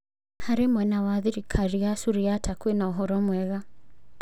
Harĩ mwena wa thirikari ya Suriata kwĩna ũhoro mwega.